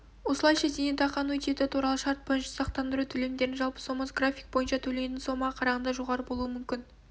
осылайша зейнетақы аннуитеті туралы шарт бойынша сақтандыру төлемдерінің жалпы сомасы график бойынша төленетін сомаға қарағанда жоғары болуы мүмкін